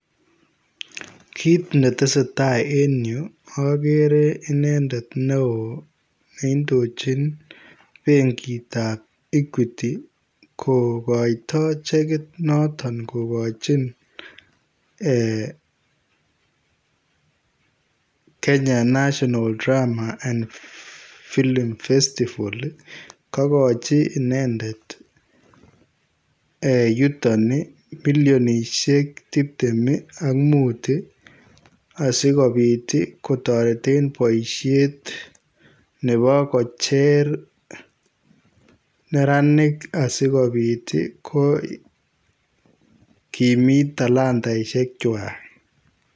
Kiit ne tesetai en Yuu agere inendet ne wooh neindojiin benkiit ab [Equity] kokaitoi chekiit notoon kogachiin eeh [Kenya national drama film festivals ii]kagochi inendet yutoon ii millionisheen tipteem ak muut asikobiit ii kotareteen boisheet ii nebo kocheer neranik asikobiit ii kokimiit talataisheek kwaak.